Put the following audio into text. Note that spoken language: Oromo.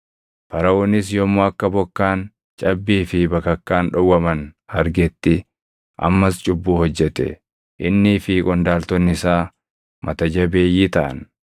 Faraʼoonis yommuu akka bokkaan, cabbii fi bakakkaan dhowwaman argetti ammas cubbuu hojjete; innii fi qondaaltonni isaa mata jabeeyyii taʼan.